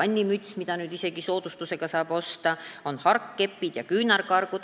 Siin loetelus on pesukinnas ja ka vannimüts, on harkkepid ja küünarkargud.